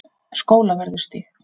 Skólavörðustíg